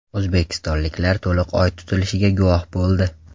O‘zbekistonliklar to‘liq Oy tutilishiga guvoh bo‘ldi .